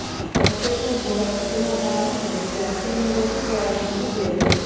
ପ୍ରତ୍ୟେକ ବସ୍ କ୍ଷମତା ଅନୁସାରେ ଯାତ୍ରୀ ନେବାକୁ ପରାମର୍ଶ ଦିଆଯାଇଛି